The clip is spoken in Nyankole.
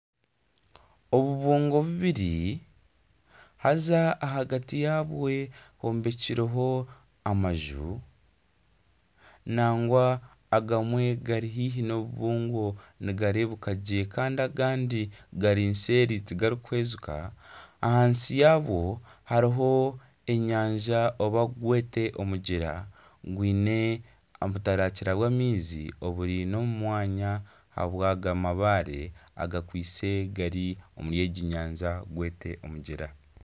Obubungo bubiri haaza ahagati yaabwo hombekireho amaju nagwa agamwe gari haihi n'obubungo nigareebeka gye kandi agandi gari seeri tigarikuhwezeka ahansi yabwo hariho enyanja oba gwete omugyera gwine obutarakira bw'amaizi obwine omu mwanya ahabw'aga mabaare agakwitse gari omuri egi nyanja gwete omugyera.